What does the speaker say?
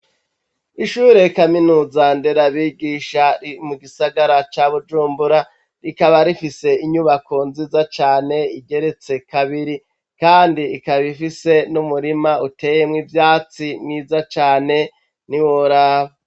Ishure kaminuza nderabigisha riri mu gisagara ca Bujumbura, rikaba rifise inyubako nziza cane igeretse kabiri, kandi ikaba ifise n'umurima uteyemwo ivyatsi mwiza cane ntiworaba.